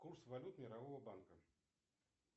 курс валют мирового банка